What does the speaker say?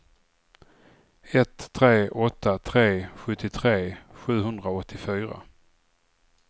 ett tre åtta tre sjuttiotre sjuhundraåttiofyra